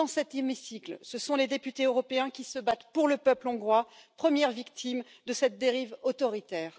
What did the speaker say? Dans cet hémicycle, ce sont les députés européens qui se battent pour le peuple hongrois, première victime de cette dérive autoritaire.